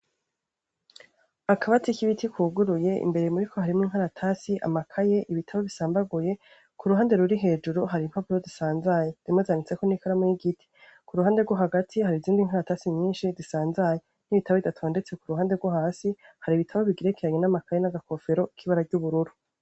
Akabati k'ibiti kuguruye, imbere muri ko harimo inkaratasi, amakaye, ibitabo bisambaguye, ku ruhande ruri hejuru hari impapuro zisanzaye, zimwe zanditseko n'ikaramo y'igiti, ku ruhande rwo hagati hari izindi nkaratasi nyinshi zisanzaye n'ibitabo bidatondetse ku ruhande rwo hasi hari ibitabo bigerekeranye n'amakaye n'agakofero k'ibara ry'ubururu.